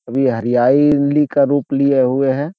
अभी हरियाली का रूप लिए हुए है।